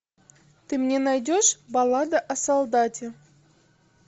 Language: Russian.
ты мне найдешь баллада о солдате